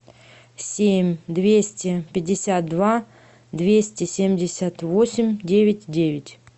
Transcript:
семь двести пятьдесят два двести семьдесят восемь девять девять